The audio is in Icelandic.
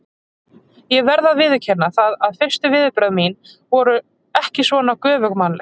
Ég verð að viðurkenna það að fyrstu viðbrögð mín voru ekki svona göfugmannleg.